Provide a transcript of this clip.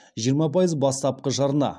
жиырма пайыз бастапқы жарна